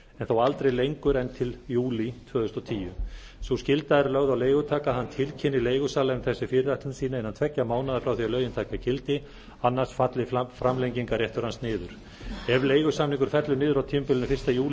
þó aldrei lengur en til fyrsta júlí tvö þúsund og tíu sú skylda er lögð á leigutaka að hann tilkynni leigusala um þessa fyrirætlun sína innan tveggja mánaða frá því að lögin taki gildi annars falli framlengingarréttur hans niður ef leigusamningur fellur niður á tímabilinu fyrsta júlí